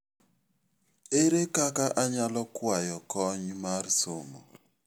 Ere kaka anyalo kwayo kony mar somo?